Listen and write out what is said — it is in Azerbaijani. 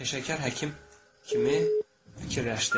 Peşəkar həkim kimi fikirləşdi.